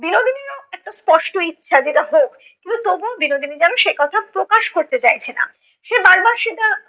বিনোদিনীরও একটা স্পষ্ট ইচ্ছা যে এটা হোক, কিন্তু তবুও বিনোদিনী যেন সে কথা প্রকাশ করতে চাইছে না। সে বার বার সেটা